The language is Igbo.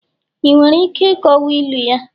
ị nwere ike ịkọwa ilu ya?